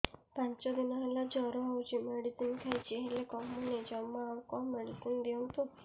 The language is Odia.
ପାଞ୍ଚ ଦିନ ହେଲା ଜର ହଉଛି ମେଡିସିନ ଖାଇଛି ହେଲେ କମୁନି ଜମା ଆଉ କଣ ମେଡ଼ିସିନ ଦିଅନ୍ତୁ